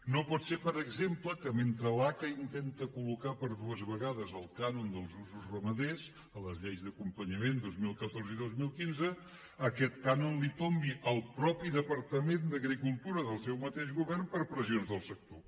no pot ser per exemple que mentre l’aca intenta col·locar per dues vegades el cànon dels usos ramaders a les lleis d’acompanyament dos mil catorze i dos mil quinze aquest cànon l’hi tombi el mateix departament d’agricultura del seu mateix govern per pressions del sector